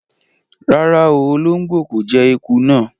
Ràrá, o olongbo ko jẹ ẹkú náa.